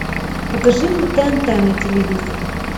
покажи мне тнт на телевизоре